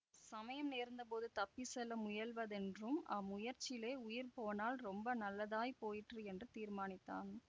சமயம் நேர்ந்த போது தப்பி செல்ல முயல்வதென்றும் அம்முயற்சியிலே உயிர் போனால் ரொம்ப நல்லதாய் போயிற்று என்றும் தீர்மானித்தான்